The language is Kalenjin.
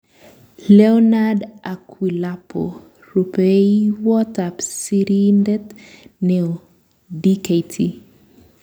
Leornard Akwilapo. Rupeiywot ap Sirindeet neoo-Dkt